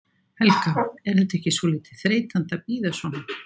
Helga: Er þetta ekki svolítið þreytandi að bíða svona?